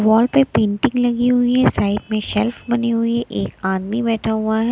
Wall पे painting लगी हुई है साइड में शेल्फ बनी हुई है एक आदमी बैठा हुआ है।